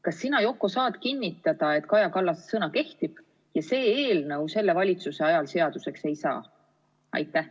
Kas sina, Yoko, saad kinnitada, et Kaja Kallase sõna kehtib ja see eelnõu selle valitsuse ajal seaduseks ei saa?